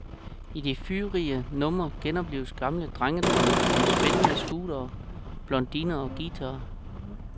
I de fyrige numre genoplives gamle drengedrømme om spindende scooters, blondiner og guitarer.